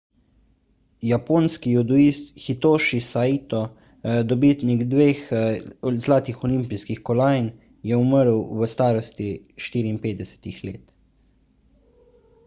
japonski judoist hitoši saito dobitnik dveh zlatih olimpijskih kolajn je umrl v starosti 54 let